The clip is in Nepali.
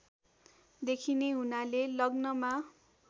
देखिने हुनाले लग्नमा